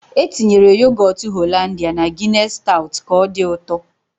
E tinyere yogọt Hollandia na Gịness staut ka ọ dị ụtọ.